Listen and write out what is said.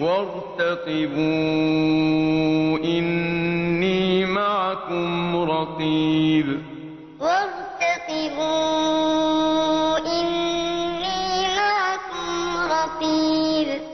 وَارْتَقِبُوا إِنِّي مَعَكُمْ رَقِيبٌ وَيَا قَوْمِ اعْمَلُوا عَلَىٰ مَكَانَتِكُمْ إِنِّي عَامِلٌ ۖ سَوْفَ تَعْلَمُونَ مَن يَأْتِيهِ عَذَابٌ يُخْزِيهِ وَمَنْ هُوَ كَاذِبٌ ۖ وَارْتَقِبُوا إِنِّي مَعَكُمْ رَقِيبٌ